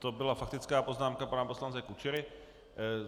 To byla faktická poznámka pana poslance Kučery.